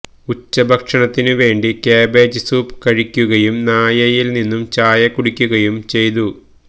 ഉച്ചഭക്ഷണത്തിനുവേണ്ടി cabbage soup കഴിക്കുകയും നായയിൽ നിന്നും ചായ കുടിക്കുകയും ചെയ്തു